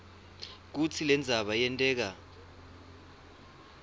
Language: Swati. kutsi lendzaba yenteka